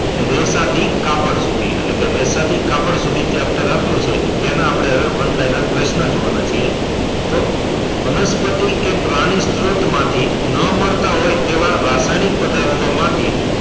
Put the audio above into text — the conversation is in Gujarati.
રેશા થી કાપડ સુધી એટલે કે રેશા થી કાપડ સુધી chapter આપ્યું છે તેમાં આપડે one liner પ્રશ્ન જોવા ના છીએ તો વનસ્પતિ કે પ્રાણી સ્ત્રોત માં થી નાં મળતા હોય તેવા રસાયણિક પદાર્થો માં થી